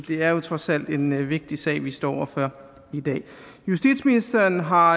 det er jo trods alt en vigtig sag vi står over for i dag justitsministeren har